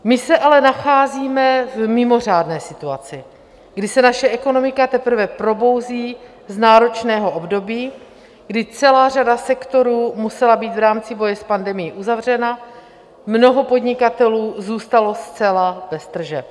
My se ale nacházíme v mimořádné situaci, kdy se naše ekonomika teprve probouzí z náročného období, kdy celá řada sektorů musela být v rámci boje s pandemií uzavřena, mnoho podnikatelů zůstalo zcela bez tržeb.